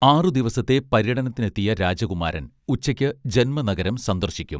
ആറുദിവസത്തെ പര്യടനത്തിനെത്തിയ രാജകുമാരൻ ഉച്ചയ്ക്ക് ജന്മനഗരം സന്ദർശിക്കും